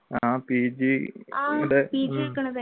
ആഹ് pg